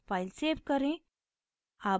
file save करें